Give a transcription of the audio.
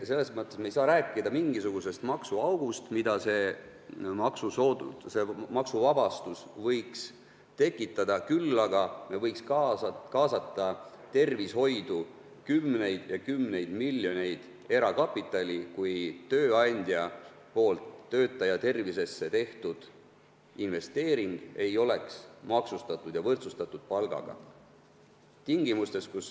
Selles mõttes ei saa me rääkida mingisugusest maksuaugust, mida see maksuvabastus võiks tekitada, küll aga võiks kaasata tervishoidu kümneid ja kümneid miljoneid eurosid erakapitali, kui tööandja poolt töötaja tervisesse tehtud investeering ei oleks maksustatud ja võrdsustatud palgaga.